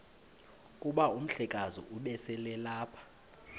kuba umhlekazi ubeselelapha